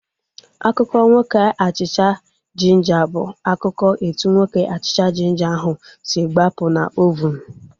Akụkọ nwoke achịcha jinja bụ akụkọ etu nwoke achịcha jinja ahu si gbapụ na ovunu